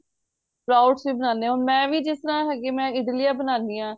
crowds ਵੀ ਬਣਾਂਨੇ ਆ ਹੁਣ ਮੈਂ ਜਿਸ ਤਰ੍ਹਾਂ ਹੈਗੀ ਮੈਂ ਇਡਲੀਆਂ ਬਣਾਨੀ ਆ